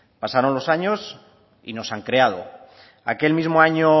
pasaron los años y no se han creado aquel mismo año